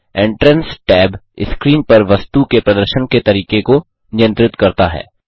entrance tab screen पर वस्तु के प्रदर्शन के तरीके को नियंत्रित करता है